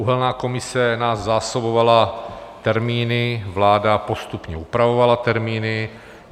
Uhelná komise nás zásobovala termíny, vláda postupně upravovala termíny.